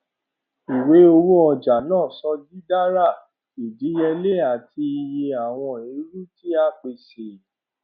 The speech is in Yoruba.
ìwé owó ọjà naa sọ didara idiyele ati iye awọn ẹru ti a pese